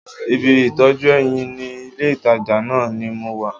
Ibi ìtọ́jú eyín ní ilé-ìtàjà náà ni mo wà